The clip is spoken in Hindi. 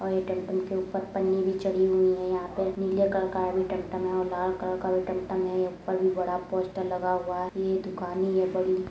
और ये टमटम के ऊपर पन्नी भी चढ़ी हुई हैं | यहाँ पर नीले कलर का भी टमटम है और लाल कलर का भी टमटम है ऊपर भी बड़ा पोस्टर लगा हुआ है। ये दुकाने यह बड़ी --